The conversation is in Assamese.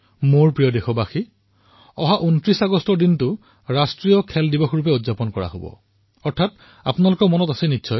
মোৰ মৰমৰ দেশবাসীসকল আপোনালোকৰ হয়তো মনত আছে যে ২৯ আগষ্ট ৰাষ্ট্ৰ ক্ৰীড়া দিৱস হিচাপে পালন কৰা হয়